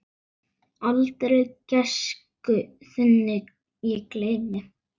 Aldrei gæsku þinni ég gleymi.